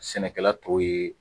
Sɛnɛkɛla t'u ye.